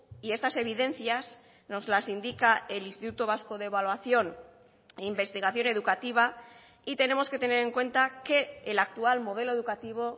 y estas evidencias nos las indica el instituto vasco de evaluación e investigación educativa y tenemos que tener en cuenta que el actual modelo educativo